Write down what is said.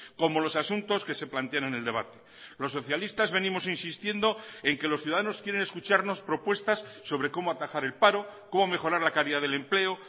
como los asuntos que se plantean en el debate los socialistas venimos insistiendo en que los ciudadanos quieren escucharnos propuestas sobre cómo atajar el paro cómo mejorar la calidad del empleo